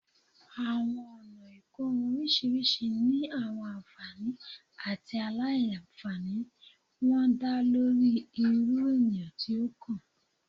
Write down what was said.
Awọn ọna ikorun oriṣiriṣi ni awọn anfani ati aila-nfani wọn da lori iru eniyan ti o kan